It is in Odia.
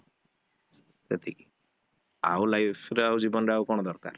ସେତିକି ଆଉ lifeରେ ଆଉ ଜୀବନରେ ଆଉ କଣ ଦରକାର?